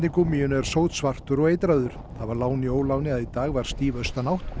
gúmmíinu er sótsvartur og eitraður það var lán í óláni að í dag var stíf austanátt